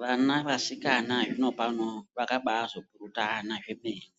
Vana vasikana zvino pano vakaba azopurutana zvemene